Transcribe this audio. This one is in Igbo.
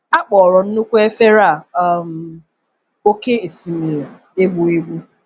A kpọrọ nnukwu efere um a oké osimiri e gbuegbu.